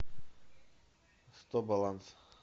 сто баланс